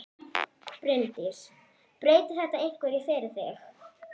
Hvenær fékkstu fyrst áhuga á mér?